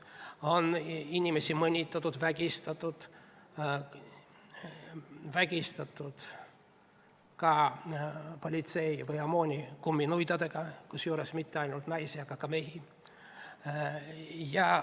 Inimesi on mõnitatud, vägistatud, neid on vägistanud ka politsei või OMON kumminuiadega, kusjuures mitte ainult naisi, vaid ka mehi.